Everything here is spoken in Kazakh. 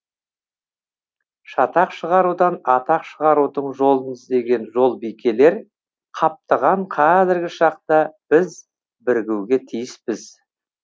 шатақ шығарудан атақ шығарудың жолын іздеген жолбикелер қаптаған қазіргі шақта біз бірігуге тиіспіз